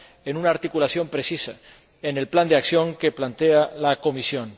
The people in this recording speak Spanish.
en una articulación precisa en el Plan de Acción que plantea la Comisión.